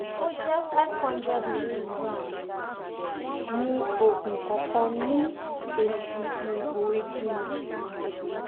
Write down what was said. o jẹ five hundred milligram oogun kankan ni esi igboigi ni